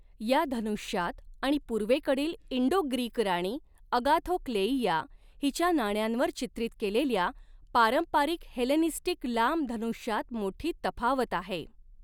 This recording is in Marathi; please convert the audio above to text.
या धनुष्यात आणि पूर्वेकडील इंडो ग्रीक राणी अगाथोक्लेइया हिच्या नाण्यांवर चित्रित केलेल्या पारंपारिक हेलेनिस्टिक लांब धनुष्यात मोठी तफावत आहे.